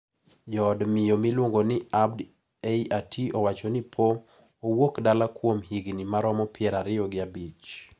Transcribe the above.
Jood miyo miluongo ni Abd EI Aty owacho ni po owuok dala kuom higni maromo pier ariyo gi abich.